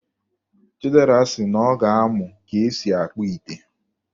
Chidera sị na ọ ga-amụ ka e si akpụ ite